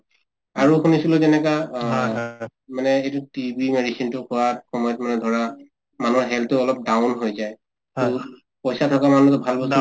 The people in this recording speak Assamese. আৰু শুনিছিলো যেনেকা অ মানে এইটো TB medicine টো খোৱাৰ সময়ত ধৰা মানুহৰ health টো অলপ down হৈ যায় । পইছা থকা মানুহ টো ভাল